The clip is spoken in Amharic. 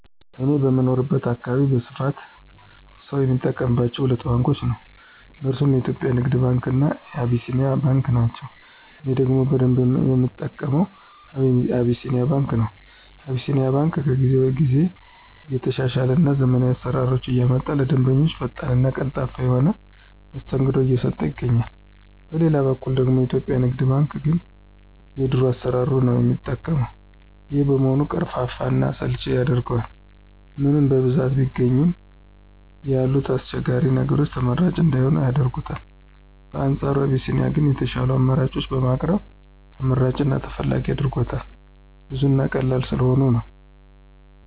እኔ በምኖርበት አካባቢ በስፋት ሰው የሚጠቀማቸው ሁለት ባንኮችን ነው። እነርሱም የኢትዮጵያ ንግድ ባንክ እና አቢሲኒያ ባንክ ናቸው። እኔ ደግሞ በደንብ የምጠቀመው አቢሲኒያ ባንክ ነው። አቢሲኒያ ባንክ ከጊዜ ጊዜ እየተሻሻለ እና ዘመናዊ አሰራሮችን እያመጣ ለደንበኞቹ ፈጣን እና ቀልጣፋ የሆነ መስተንግዶ እየሰጠ ይገኛል። በሌላ በኩል ደግሞ የኢትዮጵያ ንግድ ባንክ ግን የድሮ አሰራሩን ነው የሚጠቀው። ይሄም በመሆኑ ቀርፋፋ እና አሰልቺ ያደርገዋል። ምንም በብዛት ቢገኝ ያሉት አስቸጋሪ ነገሮች ተመራጭ እንዳይሆን ያደርጉታል። በአንፃሩ አቢሲኒያ ግን የሻሉ አማራጮችን በማቅረብ ተመራጭ እና ተፈላጊ አድርጎታል። ብዙ እና ቀላል ስለሆኑ ነው።